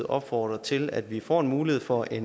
opfordre til at vi får mulighed for af